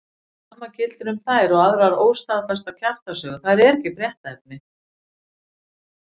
Sama gildir um þær og aðrar óstaðfestar kjaftasögur, þær eru ekki fréttaefni.